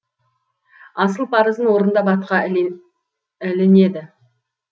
асыл парызын орындап атқа ілінеді